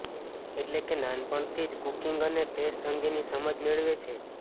એટલે કે નાનપણથી જ કુકિંગ અને ટેસ્ટ અંગેની સમજ મેળવે છે